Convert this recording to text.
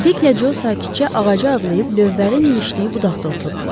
Diklə Co sakitcə ağacı adlayıb lövbərin ilişdiyi budaqda oturdular.